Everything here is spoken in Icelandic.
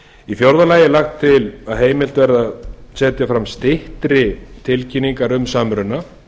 í fjórða lagi er lagt til að heimilt verði að setja fram styttri tilkynningar um samruna